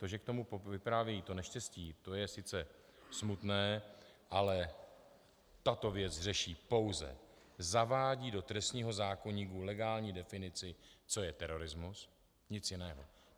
To, že k tomu vypráví to neštěstí, to je sice smutné, ale tato věc řeší pouze, zavádí do trestního zákoníku legální definici, co je terorismus, nic jiného.